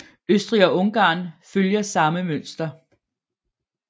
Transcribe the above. Østrig og Ungarn følger samme mønster